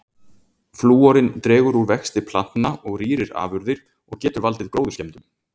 Flúorinn dregur úr vexti plantna og rýrir afurðir og getur valdið gróðurskemmdum.